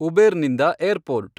Uber ನಿಂದ airport